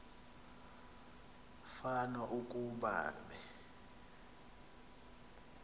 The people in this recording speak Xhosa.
fan ukuba be